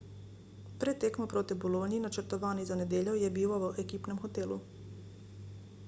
pred tekmo proti bologni načrtovani za nedeljo je bival v ekipnem hotelu